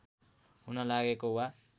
हुन लागेको वा